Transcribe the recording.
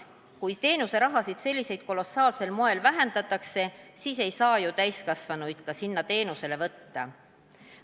Kui teenuse rahasid sellisel kolossaalsel moel vähendatakse, siis me ei saa ju täiskasvanuid ka sinna teenusele võtta.